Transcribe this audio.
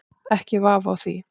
Ekki vafi á því.